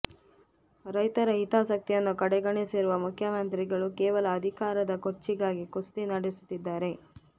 ರೈತರ ಹಿತಾಸಕ್ತಿಯನ್ನು ಕಡೆಗಣಿಸಿರುವ ಮುಖ್ಯಮಂತ್ರಿಗಳು ಕೇವಲ ಅಧಿಕಾರದ ಕುರ್ಚಿಗಾಗಿ ಕುಸ್ತಿ ನಡೆಸುತ್ತಿದ್ದಾರೆ